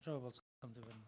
жауап алсам деп едім